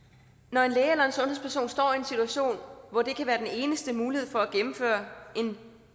når en læge eller en sundhedsperson står i en situation hvor det kan være den eneste mulighed for at gennemføre en